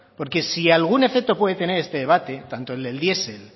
porque si algún efecto puede tener este debate tanto del diesel